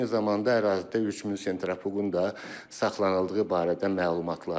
Eyni zamanda ərazidə 3000 sentrifuqun da saxlanıldığı barədə məlumatlar var.